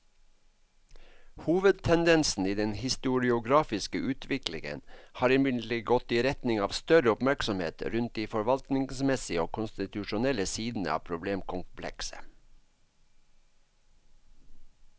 Hovedtendensen i den historiografiske utviklingen har imidlertid gått i retning av større oppmerksomhet rundt de forvaltningsmessige og konstitusjonelle sidene av problemkomplekset.